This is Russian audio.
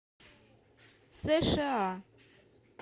сша